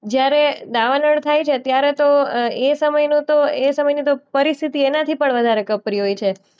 જ્યારે દાવાનળ થાય છે ત્યારે તો અ એ સમયનું તો એ સમયની તો પરિસ્થિતિ એનાથી પણ વધારે કપરી હોય છે.